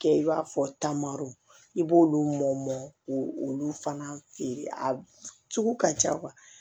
Kɛ i b'a fɔ taamaro i b'olu mɔ mɔ k'o olu fana feere a sugu ka ca kuwa